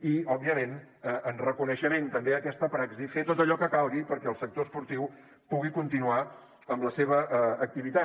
i òbviament en reconeixement també a aquesta praxi fer tot allò que calgui perquè el sector esportiu pugui continuar amb la seva activitat